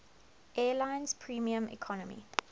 airlines premium economy